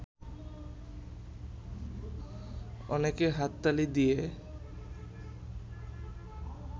অনেকে হাততালি দিয়ে